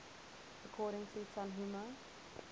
according to tanhuma